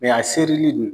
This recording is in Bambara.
a serili